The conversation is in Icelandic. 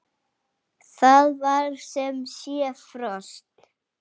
Það var sem sé frost.